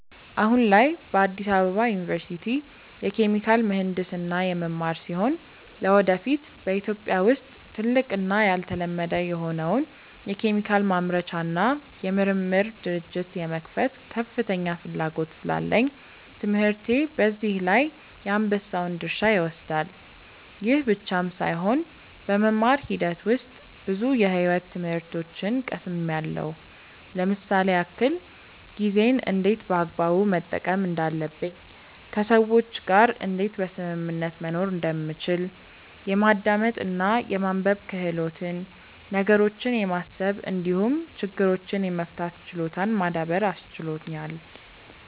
አሁን ላይ በአዲስ አበባ ዩኒቨርሲቲ የኬሚካል ምሕንድስና የምማር ሲሆን ለወደፊት በኢትዮጵያ ውስጥ ትልቅ እና ያልተለመደ የሆነውን የኬሚካል ማምረቻ እና የምርምር ድርጅት የመክፈት ከፍተኛ ፍላጎት ስላለኝ ትምህርቴ በዚህ ላይ የአንበሳውን ድርሻ ይወስዳል። ይህ ብቻም ሳይሆን በመማር ሂደት ውስጥ ብዙ የሕይወት ትምህርቶችን ቀስምያለው ለምሳሌ ያክል፦ ጊዜን እንዴት በአግባቡ መጠቀም እንዳለብኝ፣ ከሰዎች ጋር እንዴት በስምምነት መኖር እንደሚቻል፣ የማዳመጥ እና የማንበብ ክህሎትን፣ ነገሮችን የማሰብ እንዲሁም ችግሮችን የመፍታት ችሎታን ማዳበር አስችሎኛል።